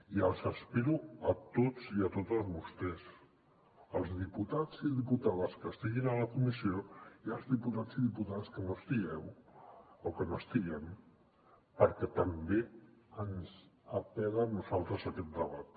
i els espero a tots i a totes vostès als diputats i diputades que estiguin a la comissió i als diputats i diputades que no hi estigueu o que no hi estiguem perquè també ens apel·la a nosaltres aquest debat